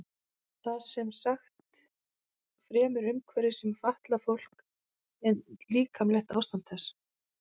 Það er sem sagt fremur umhverfið sem fatlar fólk en líkamlegt ástand þess.